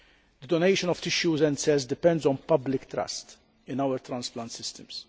The donation of tissues and cells depends on public trust in our transplant systems.